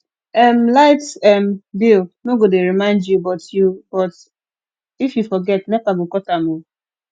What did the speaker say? um light um bill no go dey remind you but you but if you forget nepa go cut am um